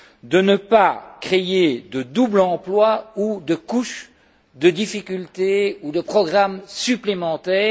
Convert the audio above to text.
de ne pas créer de doubles emplois ou de couches de difficultés ou de programmes supplémentaires.